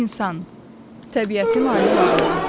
İnsan təbiətin ali varlığı.